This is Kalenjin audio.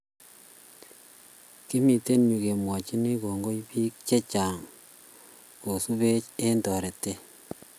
kimite yue kemwochin kongoi biik checham kosubech eng' torete